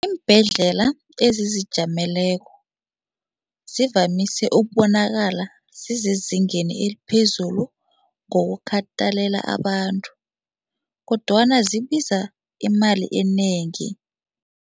Iimbhedlela ezizijameleko zivamise ubonakala zisezingeni eliphezulu ngokukatelela abantu kodwana zibiza imali enengi.